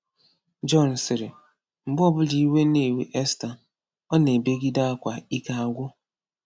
Jọn sịrị: “Mgbe ọbụla iwe na-ewe Esta, ọ na-ebegide akwa ike agwụ.